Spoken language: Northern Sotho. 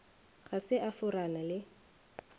ga se a forana le